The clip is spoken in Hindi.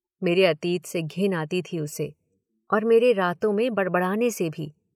मेरे अतीत से घिन आती थी उसे, और मेरे रातों में बड़बड़ाने से भी।